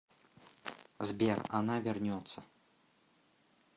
сбер она вернется